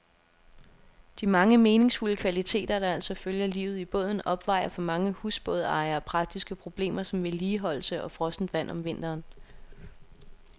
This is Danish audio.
De mange meningsfulde kvaliteter, der altså følger livet i båden, opvejer for mange husbådejere, praktiske problemer som vedligeholdelse og frossent vand om vinteren.